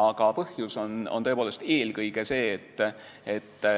Aga põhjus on tõepoolest eelkõige see, et